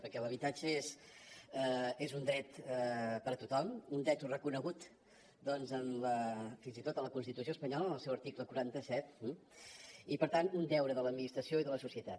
perquè l’habitatge és un dret per a tothom un dret reconegut doncs fins i tot en la constitució espanyola en el seu article quaranta set i per tant un deure de l’administració i de la societat